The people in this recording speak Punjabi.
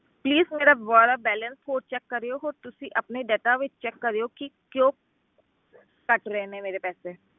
Please ਮੇਰਾ ਦੁਬਾਰਾ balance ਹੋਰ check ਕਰਿਓ ਹੁਣ ਤੁਸੀਂ ਆਪਣੇ data ਵਿੱਚ check ਕਰਿਓ ਕਿ ਕਿਉਂ ਕੱਟ ਰਹੇ ਨੇ ਮੇਰੇ ਪੈਸੇ।